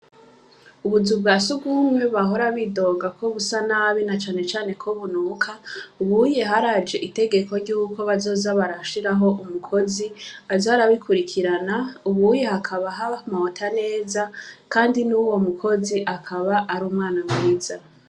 Ubuzu bwa si ubumwe bahora bidogako busa nabi na canecane kobunuka uwuye haraje itegeko ryuko bazoza barashiraho umukozi azarabikurikirana ubuye hakaba aha mawota neza, kandi n'uwo mukozi akaba ari umwana mwiza.